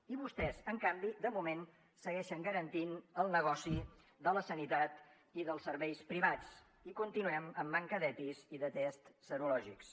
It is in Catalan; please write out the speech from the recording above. i vostès en canvi de moment segueixen garantint el negoci de la sanitat i dels serveis privats i continuem amb manca d’epis i de tests serològics